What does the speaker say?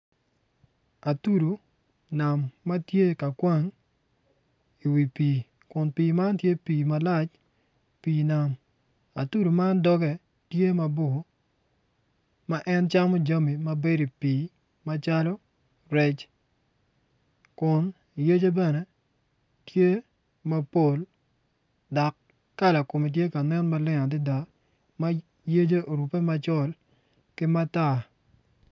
Atudu nam ma tye ka kwang iwi pii kun pii man tye pii malac pii nam atudu man dogge tye mabor ma en camo jami ma bedi i pii calo kun yece bene tye mapol dak kala kume tye ka nen maleng adida ma yece orupe macol ki matar